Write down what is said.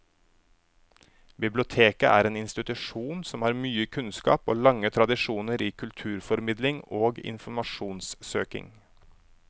Biblioteket er en institusjon som har mye kunnskap og lange tradisjoner i kulturformidling og informasjonssøking.